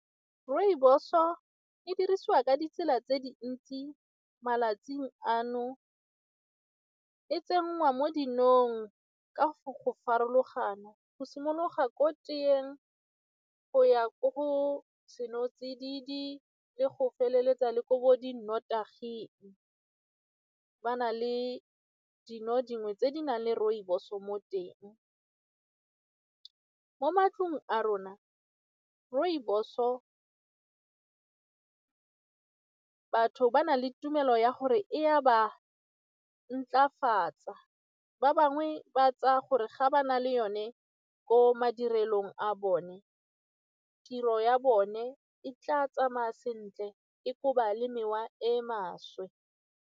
Rooibos-o e dirisiwa ka ditsela tse dintsi malatsing ano, e tsenngwa mo dinong ka go farologano go simologa ko teeng go ya ko senotsididi le go feleletsa le ko di nnotaging ba na le dino dingwe tse di nang le rooibos-o mo teng. Mo matlong a rona, rooibos-o ba na le tumelo ya gore e a ba ntlafatsa ba bangwe ba tsaya gore ga ba na le yone ko madirelong a bone tiro ya bone e tla tsamaya sentle e koba le mewa e maswe.